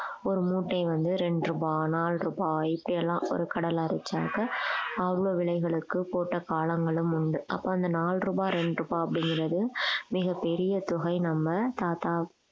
ஒரு மூட்டை வந்து இரண்டு ரூபாய் நாலு ரூபாய் இப்படி எல்லாம் ஒரு கடலை அரைச்சாங்க அவங்க விலைகளுக்கு போட்ட காலங்களும் உண்டு அப்ப அந்த நாலு ரூபாய் இரண்டு ரூபாய் அப்படிங்கிறது மிகப்பெரிய தொகை நம்ம தாத்தா